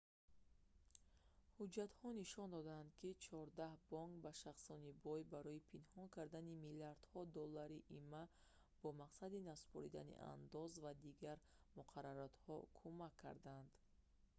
ҳуҷҷатҳо нишон доданд ки чордаҳ бонк ба шахсони бой барои пинҳон кардани миллиардҳо доллари има бо мақсади насупоридани андоз ва дигар муқарраротҳо кӯмак кардаанд